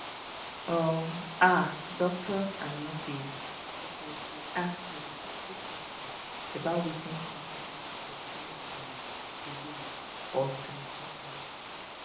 um ah doctors and nurses suppose dey ask respectful questions about wetin concern person um belief or spiritual matter